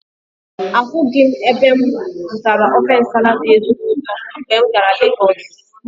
Ahụghị m ebe m zụtara ofe Nsala dị ezigbo ụtọ mgbe m gara Legọsụ.